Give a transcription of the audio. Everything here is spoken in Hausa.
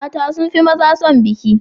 mata sunfi maza son biki